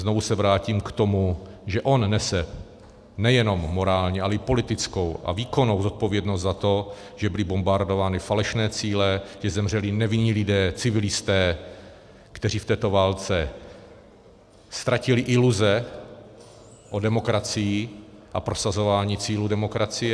Znovu se vrátím k tomu, že on nese nejenom morální, ale i politickou a výkonnou zodpovědnost za to, že byly bombardovány falešné cíle, že zemřeli nevinní lidé, civilisté, kteří v této válce ztratili iluze o demokracii a prosazování cílů demokracie.